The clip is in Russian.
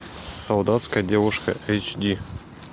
солдатская девушка эйч ди